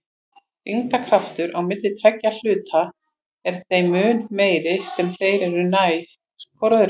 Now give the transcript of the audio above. Þyngdarkraftur milli tveggja hluta er þeim mun meiri sem þeir eru nær hvor öðrum.